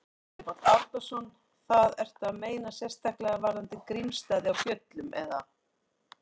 Árni Páll Árnason: Það, ertu að meina sérstaklega varðandi Grímsstaði á Fjöllum, eða?